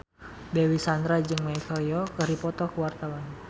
Dewi Sandra jeung Michelle Yeoh keur dipoto ku wartawan